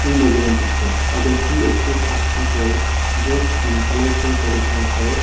in the given picture i can see a group of people dressed in colourful traditional clothes.